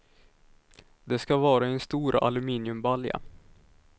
Det ska vara i en stor aluminiumbalja.